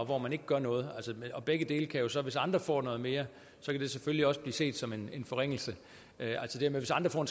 hvor man ikke gør noget hvis andre får noget mere kan det selvfølgelig også blive set som en forringelse altså hvis andre